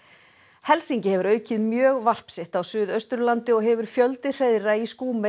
helsingi hefur aukið mjög varp sitt á Suðausturlandi og hefur fjöldi hreiðra í